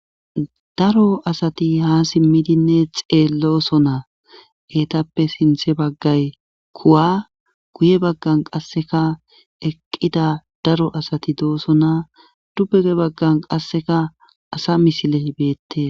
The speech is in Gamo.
daro asati ha simmidinne xeelloso naa eetappe sinthe baggay kuwa guye baggan qasseka eqqida daro asati dooso naa dubuge baggan qasseka asa misile hibeette